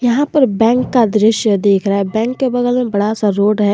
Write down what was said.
यहां पर बैंक का दृश्य देख रहा है बैंक के बगल में बड़ा सा रोड है।